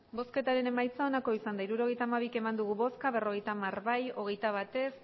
hirurogeita hamabi eman dugu bozka berrogeita hamar bai hogeita bat ez